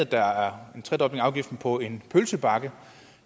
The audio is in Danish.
der er en tredobling af afgiften på en pølsebakke